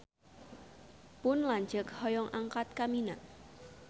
Pun lanceuk hoyong angkat ka Mina